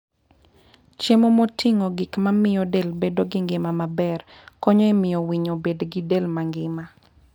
Chiemo moting'o gik mamiyo del bedo gi ngima maber, konyo e miyo winy obed gi del mangima.